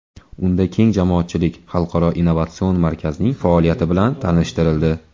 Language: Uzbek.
Unda keng jamoatchilik Xalqaro innovatsion markazning faoliyati bilan tanishtirildi.